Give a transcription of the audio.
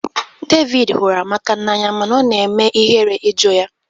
David hụrụ Amaka n'anya mana ọ na-eme ihere ịjụ ya